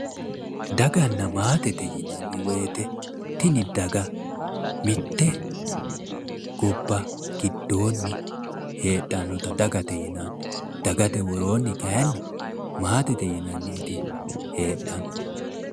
Daganna maatete yinanni woyte tini daga mitte daga giddonni heedhannota dagate yinanni, dagate woroonni kayiinni maatete yinanniti heedhanno